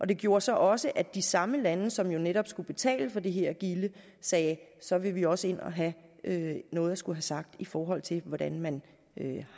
det gjorde så også at de samme lande som jo netop skulle betale for det her gilde sagde så vil vi også ind at have noget at skulle have sagt i forhold til hvordan man